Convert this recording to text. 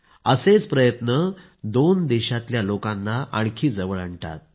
असेच प्रयत्न दोन देशांच्या लोकांना आणखी जवळ आणतात